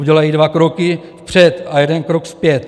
Udělají dva kroky vpřed a jeden krok zpět.